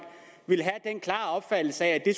ville have den klare opfattelse at det